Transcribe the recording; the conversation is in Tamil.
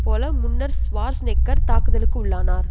போல முன்னர் ஷ்வார்ஸ்நெக்கர் தாக்குதலுக்குள்ளானார்